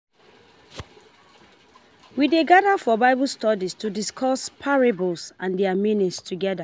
We dey gather for Bible study to discuss parables and their meanings together.